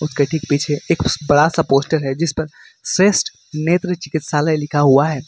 के पीछे एक बड़ा सा पोस्टर है जिसपर श्रेष्ठ नेत्र चिकित्सालय लिखा हुआ है।